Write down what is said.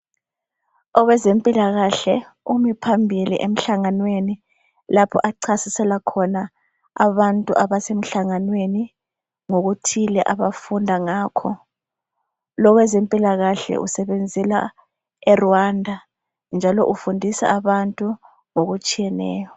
Owezempilakahle umi phambili emhlanganweni lapho achasisela khona abantu abasemhlanganweni ngokuthile abafunda ngakho. Lo owezempilakahle usebenzela eRwanda njalo ufundisa abantu ngokutshiyeneyo.